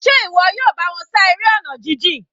Njẹ́ ìwọ yóò bá wọn ṣá eré ọ̀nà jijìn?